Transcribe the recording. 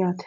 yaate.